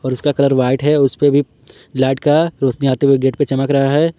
और उसका colour white है उस पे भी लाइट का रौशनी आते हुए गेट पे चमक रहा है।